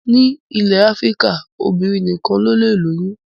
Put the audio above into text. Ní ilẹ̀ Áfíríkà, obìnrin nìkan lọlé lóyún